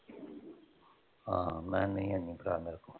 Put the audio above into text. ਹਾਂ ਮੈਂ ਕਿਹਾ ਨਹੀਂ ਹੈ ਹੈਨੀ ਭਰਾ ਮੇਰਿਆ